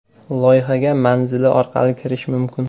Loyihaga manzili orqali kirish mumkin.